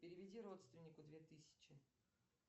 переведи родственнику две тысячи